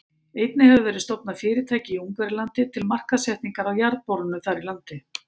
Einnig hefur verið stofnað fyrirtæki í Ungverjalandi til markaðssetningar á jarðborunum þar í landi.